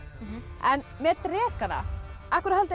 en með drekana af hverju haldið